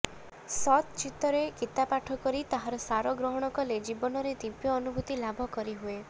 ସତ୍ଚିତ୍ତରେ ଗୀତାପାଠ କରି ତାହାର ସାର ଗ୍ରହଣ କଲେ ଜୀବନରେ ଦିବ୍ୟ ଅନୁଭୂତି ଲାଭ କରିହୁଏ